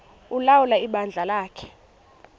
ulawula ibandla lakhe